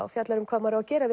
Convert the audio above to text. og fjallar um hvað maður á að gera